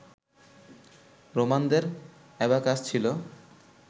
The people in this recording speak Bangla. রোমানদের অ্যাবাকাস ছিল